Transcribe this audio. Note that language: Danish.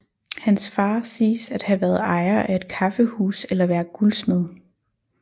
Hans far siges at have været ejer af et kaffehus eller være guldsmed